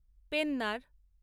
Pennar